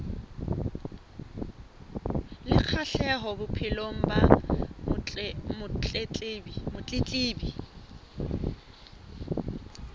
le kgahleho bophelong ba motletlebi